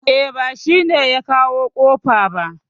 E, ba shi ne ya kawo kofa ba